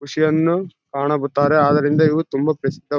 ಖುಷಿಯನ್ನು ಕಾಣುತ್ತಾರೆ ಆದರಿಂದ ಇವು ತುಂಬಾ ಪ್ರಸಿದ್ಧ --